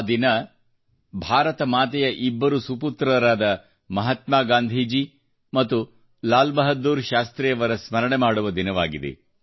ಆ ದಿನ ಭಾರತ ಮಾತೆಯ ಇಬ್ಬರು ಸುಪುತ್ರರಾದ ಮಹಾತ್ಮಾ ಗಾಂಧಿ ಮತ್ತು ಲಾಲ್ಬಹದ್ದೂರ್ ಶಾಸ್ತ್ರಿಯವರ ಸ್ಮರಣೆ ಮಾಡುವ ದಿನವಾಗಿದೆ